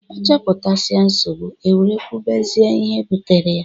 A choputasia nsogbu, e were kwubezia ihe butere ya.